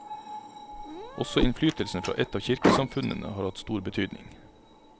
Også innflytelsen fra et av kirkesamfunnene har hatt stor betydning.